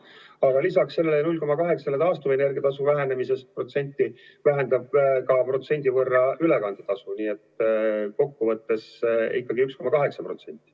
Aga lisaks sellele 0,80% taastuvenergia tasu vähendamisele väheneb 1% võrra ka ülekande tasu, nii et kokkuvõttes ikkagi 1,8%.